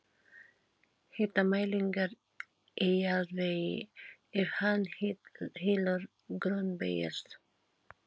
Hitamælingar í jarðvegi ef hann hylur grunnbergið.